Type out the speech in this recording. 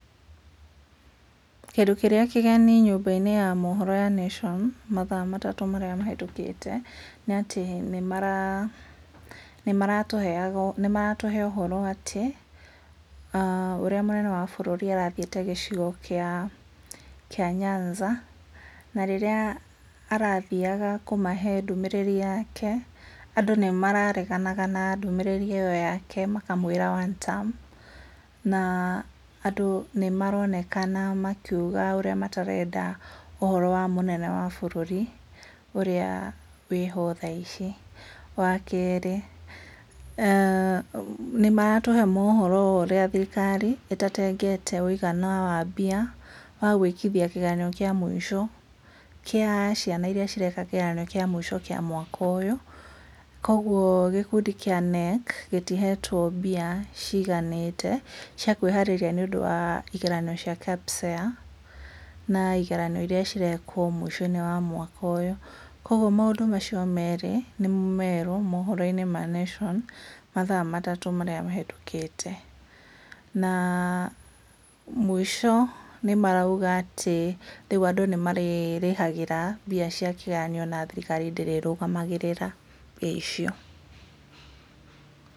Kĩndũ kĩrĩa kĩgeni nyũmba~inĩ ya mohoro ya Nation mathaa matatũ marĩa mahetũkĩte nĩ atĩ nĩ maratũhe ũhoro atĩ a ũrĩa mũnene wa bũrũri arathiĩte gĩcigo kia Nyanza, na rĩrĩa arathiaga kumahe ndũmĩrĩri yake andũ nĩ marareganaga na ndũmĩrĩrĩ ĩyo yake makamwira, one term. Na andũ nĩ maronekana makiuga ũrĩa matarenda ũhoro wa mũnene wa bũrũri ũrĩa wĩho thaa ici. Wa kerĩ nĩ maratũhe mohoro wo ũrĩa thirikari itatengete wũigana wa mbia wa gũĩkithia kĩgeranio kĩa mũico kĩa ciana iria cireka kĩgeranio kĩa mũico kĩa mwaka ũyũ. Kogwo gĩkundi kia KNEC gĩtihetwo mbia ciganĩte cia kũĩharĩria nĩũndũ wa igeranio cia KPSEA na igeranio iria cirekwo mũico~inĩ wa mwaka ũyũ. Kogwo maũndũ macio merĩ nĩmo merũ mohoro~inĩ ma Nation mathaa matatũ marĩa mahetũkĩte. Na mũico nĩ marauga atĩ rĩũ andũ nĩ marĩrĩhagĩra mbia cia kĩgeranio na thirikari ndĩrĩrũgamagĩra mbia icio.